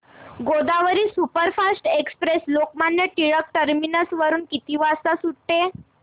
Godavari superfast express Lokmanya Tilak terminus वरून किती वाजता सुटते